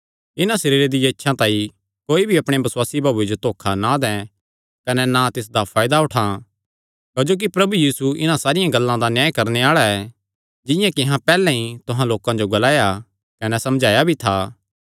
इन्हां सरीरे दियां इच्छा तांई कोई भी अपणे बसुआसी भाऊये जो धोखा ना दैं कने ना तिसदा फायदा उठां क्जोकि प्रभु यीशु इन्हां सारियां गल्लां दा न्याय करणे आल़ा ऐ जिंआं कि अहां पैहल्लैं ई तुहां लोकां जो ग्लाया कने समझाया भी था